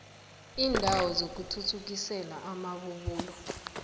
iindawo zokuthuthukisela amabubulo